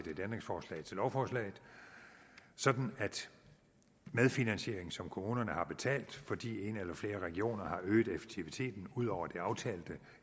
et ændringsforslag til lovforslaget sådan at medfinansieringen som kommunerne har betalt fordi en eller flere af regionerne har øget effektiviteten ud over det aftalte